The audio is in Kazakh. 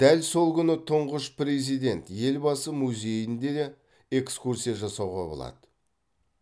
дәл сол күні тұңғыш президент елбасы музейіне де экскурсия жасауға болады